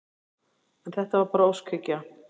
En þetta var bara óskhyggja.